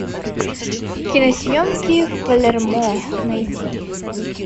киносъемки в палермо найди